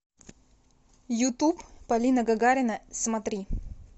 ютуб полина гагарина смотри